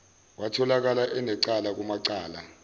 watholakala enecala kumacala